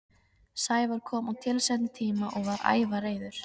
Sævar kom á tilsettum tíma og var ævareiður.